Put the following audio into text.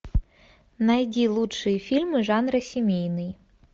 найди лучшие фильмы жанра семейный